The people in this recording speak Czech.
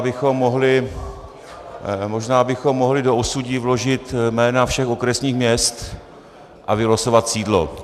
A možná bychom mohli do osudí vložit jména všech okresních měst a vylosovat sídlo.